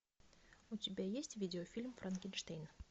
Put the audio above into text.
у тебя есть видеофильм франкенштейн